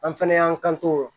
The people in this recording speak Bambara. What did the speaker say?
An fɛnɛ y'an to o